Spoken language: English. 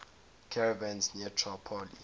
caravans near tripoli